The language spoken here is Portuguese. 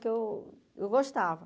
Porque eu eu gostava.